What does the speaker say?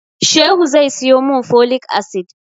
Shehu zai siyo mun folic acid